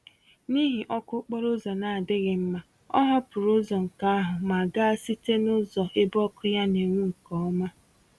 N'ihi ọkụ okporo ụzọ na-adịghị mma, ọ hapụrụ ụzọ nke ahụ ma gaa site nụzọ ebe ọkụ ya n'enwu nke ọma.